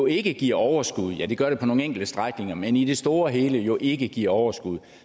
ikke giver overskud ja det gør det på nogle enkelte strækninger men i det store og hele jo ikke giver overskud og